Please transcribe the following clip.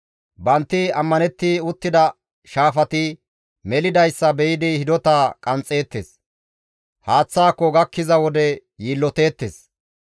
Banti ammanetti uttida shaafati melidayssa be7idi hidota qanxxeettes; haaththaako gakkiza wode yiilloteettes.